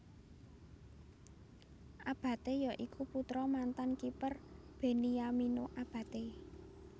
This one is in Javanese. Abate ya iku putra mantan kiper Beniamino Abate